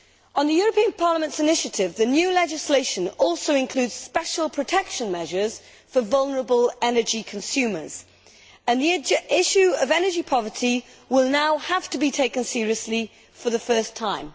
On the European Parliament's initiative, the new legislation also includes special protection measures for vulnerable energy consumers, and the issue of energy poverty will now have to be taken seriously for the first time.